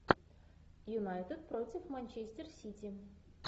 юнайтед против манчестер сити